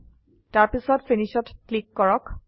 তাৰপিছত Finishত ক্লীক কৰক